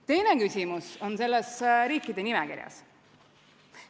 Teine küsimus on selles riikide nimekirjas.